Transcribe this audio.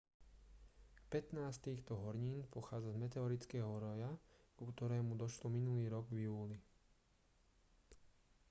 pätnásť z týchto hornín pochádza z meteorického roja ku ktorému došlo minulý rok v júli